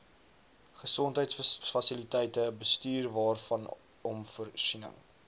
gesondheidsfasiliteite bestuurwaarvanom voorsiening